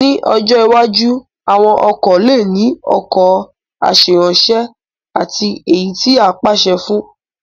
Ní ọjọ́ iwájú, àwọn ọkọ̀ lè ní ọkọ̀ aṣèrànwọ́ àti èyí tí a lè pàṣẹ fún